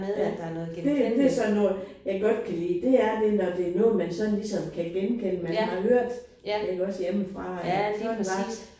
Ja. Det er det er sådan noget jeg godt kan lide. Det er det når det er noget man ligesom kan genkende der er noget man har hørt iggås hjemmefra eller så er det bare